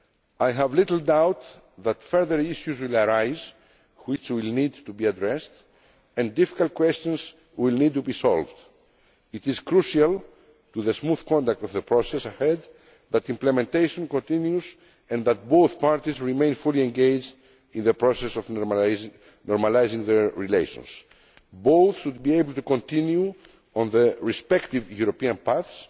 I have little doubt that further issues will arise which will need to be addressed and that difficult questions will need to be solved. It is crucial to the smooth conduct of the process ahead that implementation continues and that both parties remain fully engaged in the process of normalising their relations. Both should be able to continue on their respective European